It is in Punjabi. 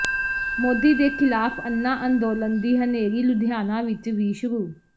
ਮੋਦੀ ਦੇ ਖਿਲਾਫ਼ ਅੰਨਾ ਅੰਦੋਲਨ ਦੀ ਹਨੇਰੀ ਲੁਧਿਆਣਾ ਵਿੱਚ ਵੀ ਸ਼ੁਰੂ